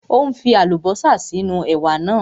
Ó ń fi Àlùbọ́sà sí inú ẹ̀wà náà